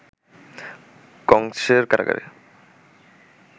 কংসের কারাগারে